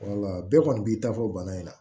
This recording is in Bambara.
bɛɛ kɔni b'i ta fɔ bana in na